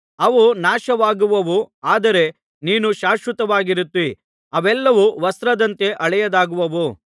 ಅವು ನಾಶವಾಗುವವು ಆದರೆ ನೀನು ಶಾಶ್ವತವಾಗಿರುತ್ತೀ ಅವೆಲ್ಲವೂ ವಸ್ತ್ರದಂತೆ ಹಳೆಯದಾಗುವವು